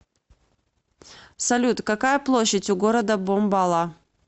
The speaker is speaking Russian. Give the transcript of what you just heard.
салют какая площадь у города бомбала